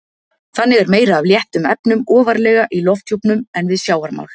Þannig er meira af léttum efnum ofarlega í lofthjúpnum en við sjávarmál.